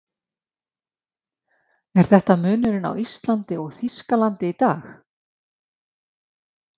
Er þetta munurinn á Íslandi og Þýskalandi í dag?